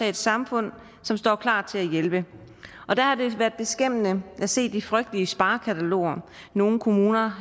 et samfund som står klar til at hjælpe der har det været beskæmmende at se de frygtelige sparekataloger nogle kommuner